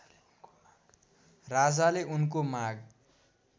राजाले उनको माग